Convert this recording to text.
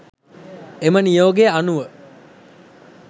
එම නියෝගය අනුව